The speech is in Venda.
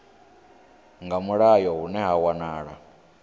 nga mulayo hune ha wanala